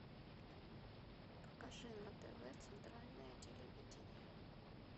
покажи на тв центральное телевидение